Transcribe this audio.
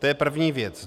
To je první věc.